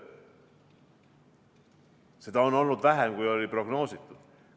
Aga seda on olnud vähem, kui oli prognoositud.